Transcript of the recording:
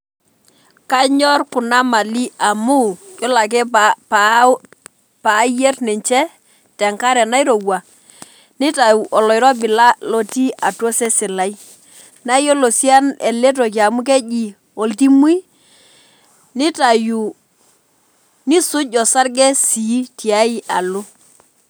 Kanyor kuna mali amu yiolo ake paa pa payier ninche tenakare nairowua, nitau oloirobi la lotii atua osesen lai , nayiolo sii eletoki amu keji oltimui nitau , nisuj osarge sii tiay alo.